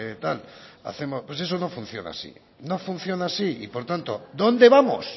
tal hacemos pues eso no funciona así no funciona así y por tanto dónde vamos